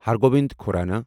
ہر گوبند کھورانا